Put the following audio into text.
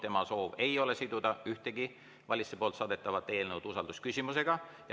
Tema soov ei ole siduda ühtegi valitsuse saadetavat eelnõu usaldusküsimusega.